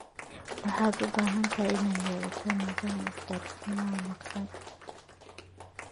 Waxaad u baahan tahay inaad yeelato nidaam isgaarsiineed oo wanaagsan.